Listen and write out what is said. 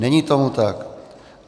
Není tomu tak.